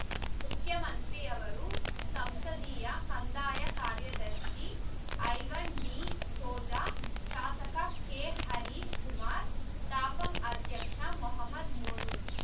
ಮುಖ್ಯಮಂತ್ರಿಯವರ ಸಂಸದೀಯ ಕಂದಾಯ ಕಾರ್ಯದರ್ಶಿ ಐವನ್ ಡಿಸೋಜಾ ಶಾಸಕ ಕೆಹರೀಶ್ ಕುಮಾರ್ ತಾಪಂ ಅಧ್ಯಕ್ಷ ಮೊಹಮ್ಮದ್ ಮೋನು